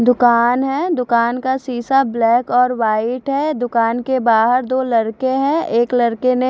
दूकान है दूकान का सीसा ब्लैक और वाइट है दूकान के बाहर दो लड़के है एक लड़के ने--